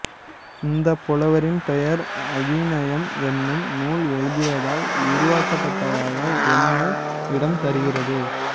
இந்தப் புலவரின் பெயர் அவிநயம் என்னும் நூல் எழுதியதால் உருவாக்கப்பட்டதாக எண்ண இடம் தருகிறது